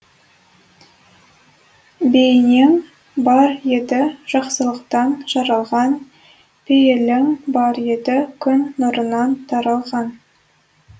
бейнең бар еді жақсылықтан жаралған пейілің бар еді күн нұрынан таралған